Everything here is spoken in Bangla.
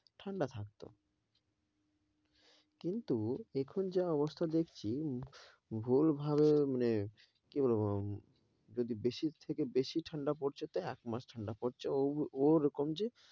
ঠান্ডা থাকত, কিন্তু এখন যা অবস্থা দেখছি ভুল্ভাল মানে কি বলব যদি বেশির থেকে বেশি ঠান্ডা পরছে তো একমাস পরছে ওরকম যে